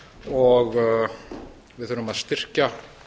og við þurfum að styrkja